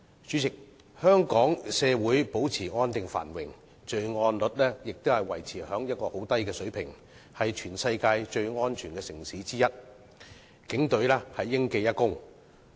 主席，香港社會保持安定繁榮，罪案率維持在很低的水平，是全世界最安全的城市之一，就此警隊應記一功。